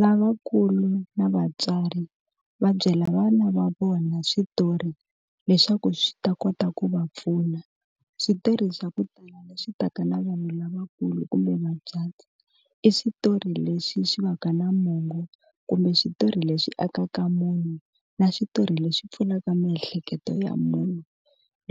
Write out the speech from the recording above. Lavakulu na vatswari va byela vana va vona switori leswaku swi ta kota ku va pfuna switirhi swa ku tala leswi taka na vanhu lavakulu kumbe vacati i switori leswi swi va ka na mongo kumbe switori leswi akaka munyu na switori leswi pfulaka miehleketo ya munhu